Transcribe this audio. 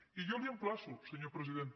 i jo l’emplaço senyor president